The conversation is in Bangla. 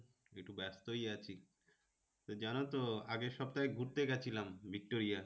একটু ব্যস্তই আছি। তো জানো তো আগের সপ্তায় ঘুরতে গিয়েছিলাম ভিক্টোরিয়া।